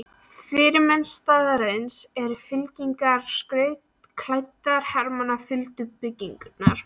Fyrirmenn staðarins og fylkingar skrautklæddra hermanna fylltu bryggjurnar.